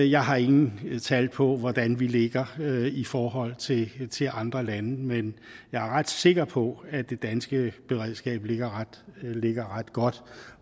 jeg har ingen tal på hvordan vi ligger i forhold til andre lande men jeg er ret sikker på at det danske beredskab ligger ligger ret godt